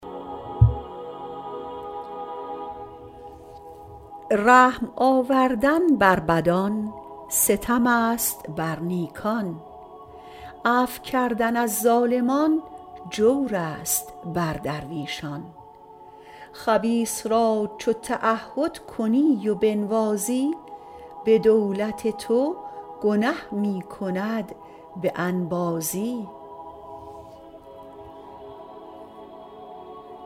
رحم آوردن بر بدان ستم است بر نیکان عفو کردن از ظالمان جور است بر درویشان خبیث را چو تعهد کنی و بنوازی به دولت تو گنه می کند به انبازی